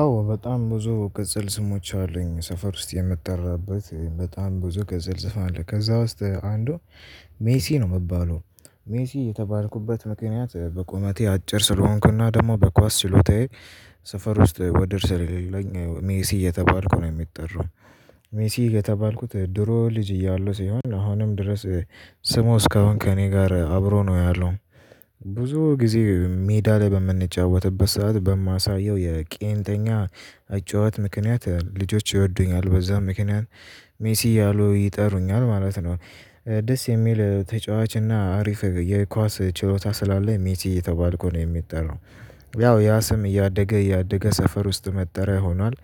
አዎ በጣም ብዙ ቅጽል ስሞች አሉኝ ሰፈር ውስጥ የምጠራበት በጣም ብዙ ቅጽል ስም አለ ከዛ ውስጥ አንዱ ሜሲ ነው የምባለው ሜሲ የተባልኩበት ምክንያት በቁመቴ አጭር ስለሆንኩና ደግሞ በኳስ ችሎታዬ ሰፈር ውስጥ ወደር ስለሌለኝ ሜሲ እየተባልኩ ነው የምጠራው። ሜሲ የተባልኩት ድሮ ልጅ እያለሁ ሲሆን አሁንም ድረስ ስሙ እስካሁን ከእኔ ጋር አብሮ ነው ያለው። ብዙ ጊዜ ሜዳ ላይ በምንጫወትበት ሰዓት በማሳየው የቄንጠኛ አጨዋወት ምክንያት ልጆች ይወዱኛል በዛ ምክንያት ሜሲ እያሉ ይጠሩኛል ማለት ነው። ደስ የሚል ተጫዋች እና አሪፍ የኳስ ችሎታ ስላለኝ ሜሲ እየተባልኩ ነው የምጠራው። ያው ያ ስም እያደገ እያደገ ሰፈር ውስጥ መጠሪያ ሆኗል።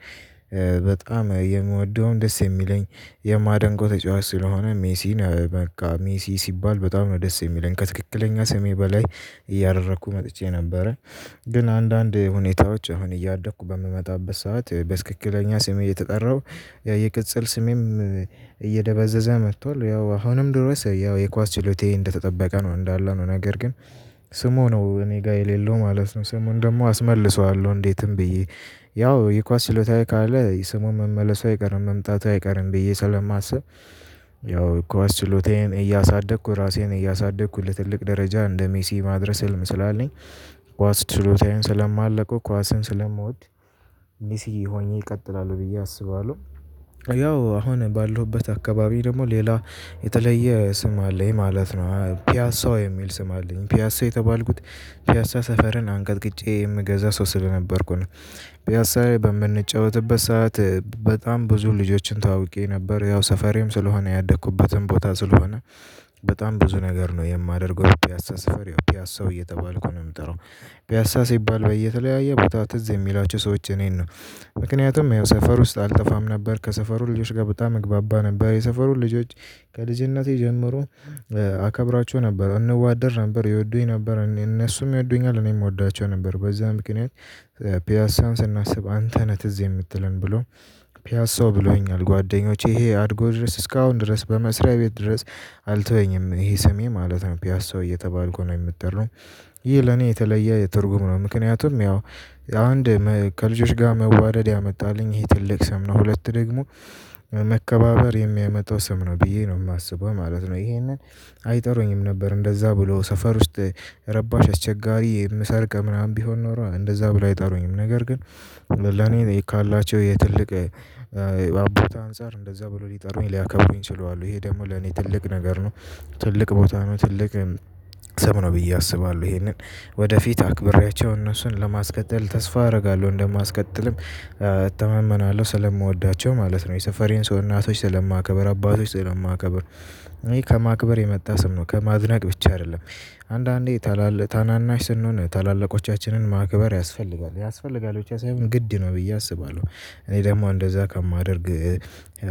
በጣም የምወደውን ደስ የሚለኝ የማደንቀው ተጫዋች ስለሆነ ሜሲን በቃ ሜሲ ሲባል በጣም ነው ደስ የሚለኝ ከትክክለኛ ስሜ በላይ እያደረኩ መጥቼ ነበረ። ግን አንዳንድ ሁኔታዎች አሁን እያደኩ በምመጣበት ሰዓት በትክክለኛ ስሜ እየተጠራሁ ያ የቅጽል ስሜም እየደበዘዘ መጥቷል። ያው አሁንም ድረስ ያው የኳስ ችሎታዬ እንደተጠበቀ ነው እንዳለ ነው ነገር ግን ስሙ ነው እኔ ጋር የሌለው ማለት ነው። ስሙን ደግሞ አስመልሰዋለሁ እንዴትም ብዬ ያው የኳስ ችሎታዬ ካለ ስሙ መመለሱ አይቀርም መምጣቱ አይቀርም ብዬ ስለማስብ። ያው ኳስ ችሎታዬን እያሳደኩ ራሴን እያሳደኩ ለትልቅ ደረጃ እንደ ሜሲ ማድረስ ህልም ስላለኝ። ኳስ ችሎታዬን ስለማለቀው ኳስን ስለምወድ ሜሲ ሆኜ እቀጥላለሁ ብዬ አስባለሁ። ያው አሁን ባለሁበት አካባቢ ደግሞ ሌላ የተለየ ስም አለኝ ማለት ነው። ፒያሳው የሚል ስም አለኝ ፒያሳው የተባልኩት ፒያሳ ሰፈርን አንቀጥቅጬ የምገዛ ሰው ስለነበርኩኝ ነው። ፒያሳዬ በምንጫወትበት ሰዓት በጣም ብዙ ልጆችን ተዋውቄ ነበር ያው ሰፈሬም ስለሆነ ያደኩበትም ቦታ ስለሆነ። በጣም ብዙ ነገር ነው የማደርገው ፒያሳ ሰፈር ፒያሳው እየተባልኩ ነው የምጠራው። ፒያሳ ሲባል በየተለያየ ቦታ ትዝ የሚላቸው ሰዎች እኔን ነው። ምክንያቱም ያው ሰፈር ውስጥ አልጠፋም ነበር ከሰፈሩ ልጆች ጋር በጣም እግባባ ነበር የሰፈሩ ልጆች። ከልጅነቴ ጀምሮ አከብራቸው ነበር እንዋደድ ነበር ይወዱኝ ነበር እነሱም ይወዱኛል እኔም እወዳቸው ነበር በዛ ምክንያት። ፒያሳን ስናስብ አንተ ነህ ትዝ የምትለን ብለው ፒያሳው ብለውኛል ጓደኞቼ ይሄ አድጎ ድረስ እስካሁን ድረስ በመስሪያ ቤት ድረስ። አልተወኝም ይሄ ስሜ ማለት ነው ፒያሳው እየተባልኩ ነው የምጠራው። ይህ ለኔ የተለየ ትርጉም ነው ምክንያቱም ያው አንድ ከልጆች ጋር መዋደድ ያመጣልኝ ይሄ ትልቅ ስም ነው። ሁለት ደግሞ መከባበር የሚያመጣው ስም ነው ብዬ ነው የማስበው ማለት ነው። ይሄንን አይጠሩኝም ነበር እንደዛ ብሎ ሰፈር ውስጥ ረባሽ አስቸጋሪ የምሰርቅ ምናምን ቢሆን ኖሮ እንደዛ ብለው አይጠሩኝም ነገር ግን። ለኔ እኔ ካላቸው የትልቅ አባት አንፃር እንደዛ ብሎ ሊጠሩኝ ሊያከብሩኝ ችለዋል ይሄ ደግሞ ለኔ ትልቅ ነገር ነው። ትልቅ ቦታ ነው ትልቅ ስም ነው ብዬ አስባለሁ። ይሄንን ወደፊት አክብሬያቸው እነሱን ለማስቀጠል ተስፋ አደርጋለሁ እንደማስቀጥልም እተማመናለሁ ስለምወዳቸው ማለት ነው። የሰፈሬን ሰው እናቶች ስለማከብር አባቶች ስለማከብር ይሄ ከማክበር የመጣ ስም ነው ከማድነቅ ብቻ አይደለም። አንዳንዴ ታላላቅ ታናናሽ ስንሆን ታላላቆቻችንን ማክበር ያስፈልጋል ያስፈልጋል ብቻ ሳይሆን ግድ ነው ብዬ አስባለሁ። እኔ ደግሞ እንደዛ ከማደርግ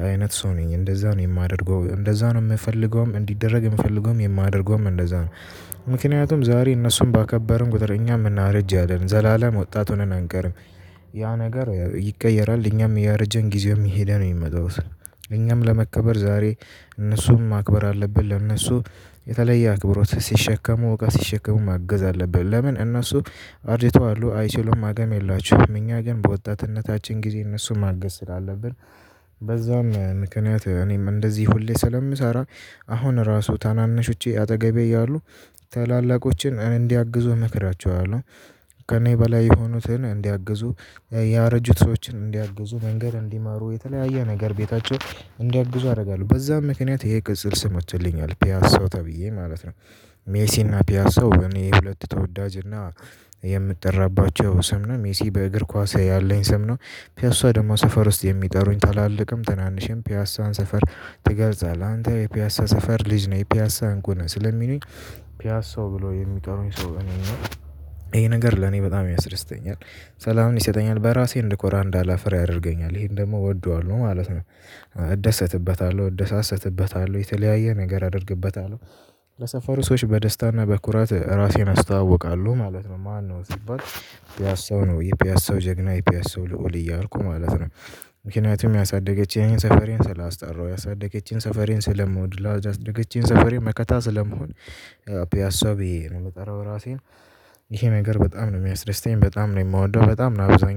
አይነት ሰው ነኝ እንደዛ ነው የማደርገው እንደዛ ነው የምፈልገውም እንዲደረግ የምፈልገውም የማደርገውም እንደዛ ነው። ምክንያቱም ዛሬ እነሱን ባከበርን ቁጥር እኛም እናረጃለን ዘላለም ወጣት ሆነን አንቀርም። ያ ነገር ይቀየራል እኛም እያረጀን ጊዜውም እየሄደ ነው። የሚመጣው ስለ እኛም ለመከበር ዛሬ እነሱን ማክበር አለብን። ለእነሱ የተለየ አክብሮት ሲሸከሙ እቃ ሲሸከሙ ማገዝ አለብን ለምን እነሱ አርጅተዋሉ አይችሉም አቅም የላቸውም እኛ ግን በወጣትነታችን ጊዜ እነሱን ማገዝ ስላለብን። በዛም ምክንያት እኔም እንደዚህ ሁሌ ስለምሰራ። አሁን ራሱ ታናናሾቼ አጠገቤ እያሉ ታላላቆችን እንዲያግዙ እመክራቸዋለሁ። ከእኔ በላይ የሆኑትን እንዲያግዙ ያረጁት ሰዎችን እንዲያግዙ መንገድ እንዲመሩ የተለያየ ነገር ቤታቸው እንዲያግዙ አደርጋለሁ በዛም ምክንያት ይሄ ቅጽል ስም ወጥቶልኛል ፒያሳው ተብዬ ማለት ነው። ሜሲ እና ፒያሳው እኔ ሁለት ተወዳጅ እና የምጠራባቸው ስም ነው ሜሲ በእግር ኳስ ያለኝ ስም ነው። ፒያሳ ደግሞ ሰፈር ውስጥ የሚጠሩኝ ታላላቅም ትናንሽም ፒያሳን ሰፈር ትገልጻለህ አንተ የፒያሳ ሰፈር ልጅ ነህ የፒያሳ እንቁ ነህ ስለሚሉኝ። ፒያሳው ብሎ የሚጠሩኝ ሰው እኔን ነው ይሄ ነገር ለኔ በጣም ያስደስተኛል። ሰላም ይሰጠኛል በራሴ እንድኮራ እንዳላፍር ያደርገኛል ይሄን ደግሞ እወደዋለሁ ማለት ነው። እደሰትበታለሁ እደሳሰትበታለሁ የተለያየ ነገር አደርግበታለሁ። ለሰፈሩ ሰዎች በደስታና በኩራት ራሴን አስታውቃለሁ ማለት ነው። ማነው ሲባል ፒያሳው ነው የፒያሳው ጀግና የፒያሳው ልዑል እያልኩ ማለት ነው። ምክንያቱም ያሳደገች ሰፈሬን ስላስጠራሁ ያሳደገችኝን ሰፈሬን ስለምወድ ላሳደገችኝ ሰፈሬ መከታ ስለምሆን። ፒያሳው ብዬ ነው የምጠራው ራሴን። ይሄ ነገር በጣም ነው የሚያስደስተኝ በጣም ነው የምወደው በጣም ነው አብዛኛው